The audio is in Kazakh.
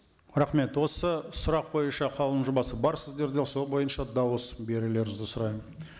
рахмет осы сұрақ бойынша қаулының жобасы бар сіздерде сол бойынша дауыс берулеріңізді сұраймын